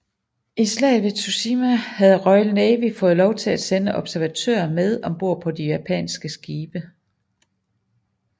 I slaget ved Tsushima havde Royal Navy fået lov til at sende observatører med om bord på de japanske skibe